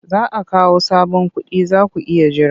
Za a kawo sabon kuɗi za ku iya jira.